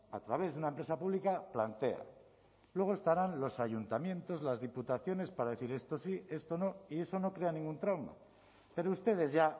a través de una empresa pública plantea luego estarán los ayuntamientos las diputaciones para decir esto sí esto no y eso no crea ningún trauma pero ustedes ya